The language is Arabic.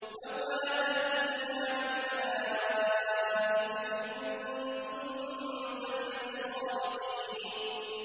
لَّوْ مَا تَأْتِينَا بِالْمَلَائِكَةِ إِن كُنتَ مِنَ الصَّادِقِينَ